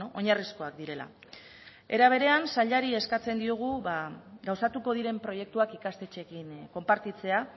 oinarrizkoak direla era berean sailari eskatzen diogu gauzatuko diren proiektuak ikastetxeekin konpartitzea